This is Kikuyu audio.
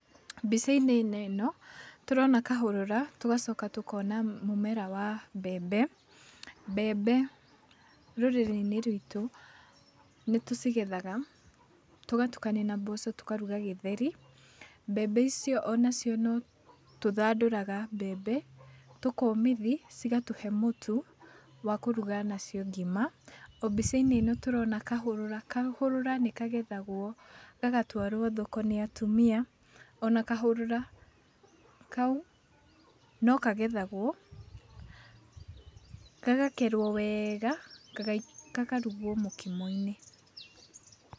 Mbica-inĩ ĩno tũrona kahũrũra tũgacoka tũkona mũmera wa mbembe. Mbembe rũrĩrĩ-inĩ rwitũ nĩtũcigethaga, tũgatukania na mboco tũkaruga gĩtheri, mbembe icio o nacio no tũthandũraga mbembe tũkomithia cigatũhe mũtu wa kũruga nacio ngima, o mbicainĩ ĩno tũrona kahũrũra. Kahũrũra nĩkagethagwo gagatwarwo thoko nĩ atumia ona kahũrũra kau no kagethagwo, gagakerwo wega gaka gakarugwo mũkimo-inĩ